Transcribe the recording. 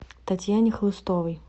татьяне хлыстовой